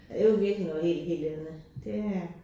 Det var virkelig noget helt helt andet det øh